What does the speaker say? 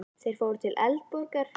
Þeir fóru til Edinborgar.